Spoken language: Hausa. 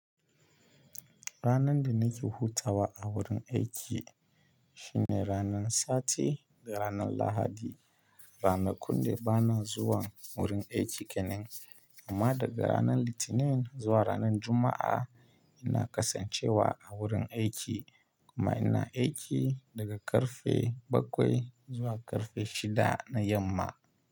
Ranar da nake hutawa a wurin aiki shine ranar Sati da ranar Lahadi. Ranakun da bana zuwa wurin aiki kenan. Amma daga ranar Litinin zuwa ranar Juma'a ina kasancewa a wurin aiki kuma ina aiki daga karfe bakwai zuwa karfe shida na yamma.